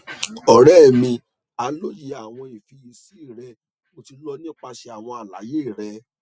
ọrẹ mi a loye awọn ifiyesi rẹ mo ti lọ nipasẹ awọn alaye rẹ